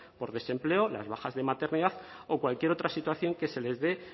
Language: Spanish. por desempleo las bajas de maternidad o cualquier otra situación que se les dé